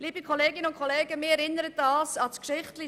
Das erinnert mich an eine Geschichte: